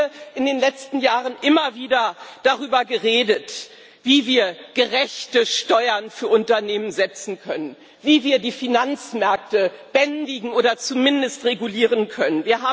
Wir haben hier in den letzten Jahren immer wieder darüber geredet, wie wir gerechte Steuern für Unternehmen setzen können, wie wir die Finanzmärkte bändigen oder zumindest regulieren können.